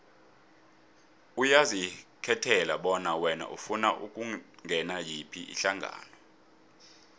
uyazikhethela bona wena ufuna ukungenela yiphi ihlangano